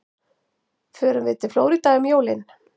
Förum við til Flórída um jólin?